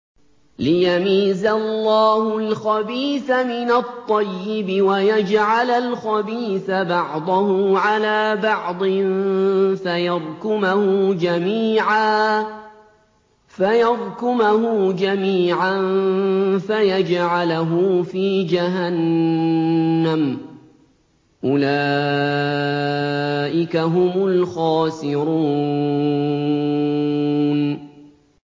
لِيَمِيزَ اللَّهُ الْخَبِيثَ مِنَ الطَّيِّبِ وَيَجْعَلَ الْخَبِيثَ بَعْضَهُ عَلَىٰ بَعْضٍ فَيَرْكُمَهُ جَمِيعًا فَيَجْعَلَهُ فِي جَهَنَّمَ ۚ أُولَٰئِكَ هُمُ الْخَاسِرُونَ